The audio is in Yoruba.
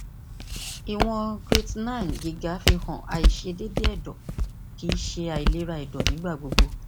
iwọn creatinine giga fihan aiṣedede ẹdọ kii ṣe ailera ẹdọ nigbagbogbo